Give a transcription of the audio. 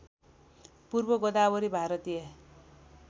पूर्व गोदावरी भारतीय